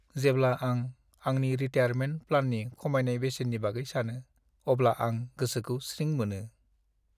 जेब्ला आं आंनि रिटायारमेन्ट प्लाननि खमायनाय बेसेननि बागै सानो, अब्ला आं गोसोखौ स्रिं मोनो।